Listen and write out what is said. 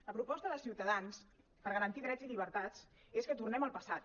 la proposta de ciutadans per garantir drets i llibertats és que tornem al passat